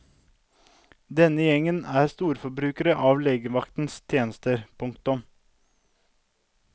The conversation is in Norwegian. Denne gjengen er storforbrukere av legevaktens tjenester. punktum